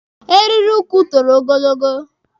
Eriri ukwu toro ogologo.